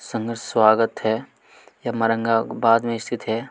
संघर्ष स्वागत है औरंगाबाद में स्थित हैं।